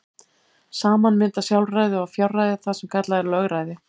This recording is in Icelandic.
Saman mynda sjálfræði og fjárræði það sem kallað er lögræði.